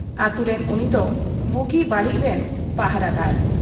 ᱟᱹᱛᱩ ᱨᱮᱱ ᱩᱱᱤᱫᱚ ᱵᱩᱜᱤ ᱵᱟᱹᱲᱤᱡ ᱨᱤᱱ ᱯᱟᱦᱨᱟ ᱫᱟᱨ ᱾